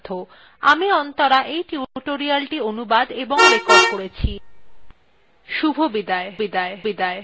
আমি অন্তরা এই টিউটোরিয়ালthe অনুবাদ এবং রেকর্ড করেছি শুভবিদায়